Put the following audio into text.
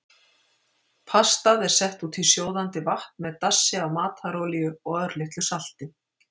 Pastað er sett út í sjóðandi vatn með dassi af matarolíu og örlitlu salti.